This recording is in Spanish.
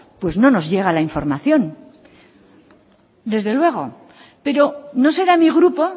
pues no nos llega la información desde luego pero no será mi grupo